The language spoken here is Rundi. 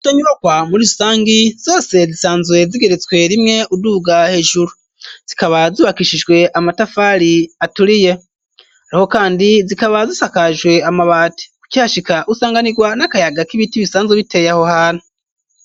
Izo nyibakwa muri rusangi zose zisanzwe zigeretswe rimwe uduuga hejuru zikaba zubakishijwe amatafari aturiye ariho kandi zikaba zisakajwe amabati ukihashika usanganirwa n'akayaga k'ibiti bisanzwe biteye aho hano.